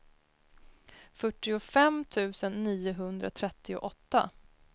fyrtiofem tusen niohundratrettioåtta